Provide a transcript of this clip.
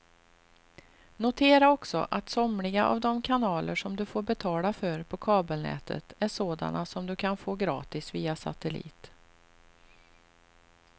Notera också att somliga av de kanaler som du får betala för på kabelnätet är sådana som du kan få gratis via satellit.